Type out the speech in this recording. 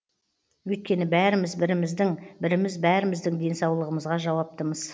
өйткені бәріміз біріміздің біріміз бәріміздің денсаулығымызға жауаптымыз